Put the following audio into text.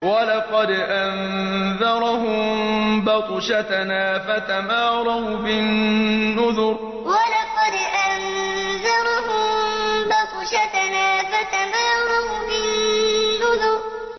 وَلَقَدْ أَنذَرَهُم بَطْشَتَنَا فَتَمَارَوْا بِالنُّذُرِ وَلَقَدْ أَنذَرَهُم بَطْشَتَنَا فَتَمَارَوْا بِالنُّذُرِ